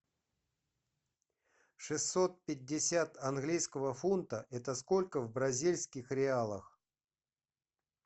шестьсот пятьдесят английского фунта это сколько в бразильских реалах